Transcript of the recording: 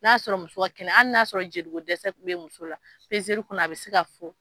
N y'a sɔrɔ muso kelen an y'a sɔrɔ jeli dɛsɛ kun bɛ muso la kɔnɔ a bɛ se ka fɔ.